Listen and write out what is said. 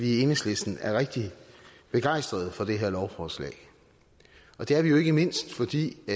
i enhedslisten er rigtig begejstrede for det her lovforslag og det er vi jo ikke mindst fordi vi